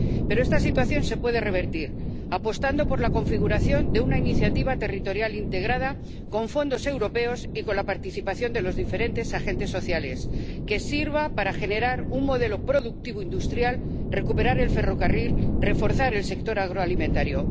Pero esta situación se puede revertir apostando por la configuración de una iniciativa territorial integrada con fondos europeos y con la participación de los diferentes agentes sociales, que sirva para generar un modelo productivo industrial, recuperar el ferrocarril y reforzar el sector agroalimentario.